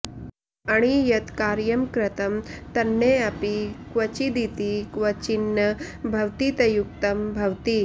अणि यत् कार्यं कृतं तण्णेऽपि क्वचिदिति क्वचिन्न भवतीत्युक्तं भवति